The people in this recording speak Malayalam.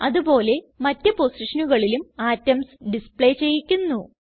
അത് പോലെ മറ്റ് പൊസിഷനുകളിലും അറ്റോംസ് ഡിസ്പ്ലേ ചെയ്യിക്കുന്നു